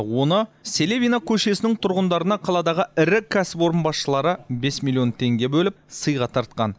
оны селевина көшесінің тұрғындарына қаладағы ірі кәсіпорын басшылары бес миллион теңге бөліп сыйға тартқан